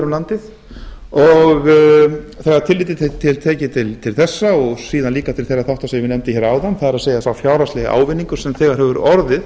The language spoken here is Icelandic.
firði og jafnvel víðar um landið þegar tillit er tekið til þessa og síðan líka til þeirra þátta sem ég nefndi hér áðan það er sá fjárhagslegi ávinningur sem þegar hefur orðið